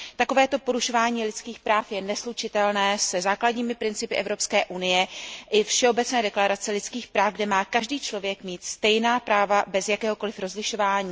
Takovéto porušování lidských práv je neslučitelné se základními principy Evropské unie i Všeobecné deklarace lidských práv, podle které má každý člověk mít stejná práva bez jakéhokoliv rozlišování.